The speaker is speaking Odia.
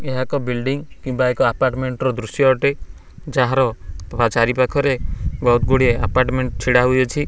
ଏହା ଏକ ବିଲଡିଙ୍ଗ କିମ୍ବା ଏକ ଆପଟମେଣ୍ଟ ର ଦୃଶ୍ୟ ଅଟେ ଯାହାର ଚାରି ପାଖରେ ବହୁତ୍ ଗୁଡ଼ିଏ ଆପଟମେଣ୍ଟ ଛିଡ଼ା ହୋଇଅଛି।